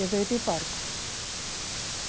Eu vim de barco.